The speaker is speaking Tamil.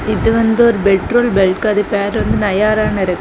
இது வந்து ஒரு பெட்ரோல் பெல்கு அது பேர் வந்து நயாரானு இருக்கு.